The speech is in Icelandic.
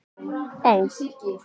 Ó